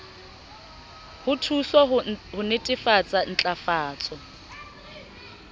ho thuswa ho netefatsa ntlafatso